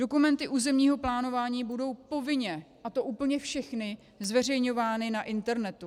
Dokumenty územního plánování budou povinně, a to úplně všechny, zveřejňovány na internetu.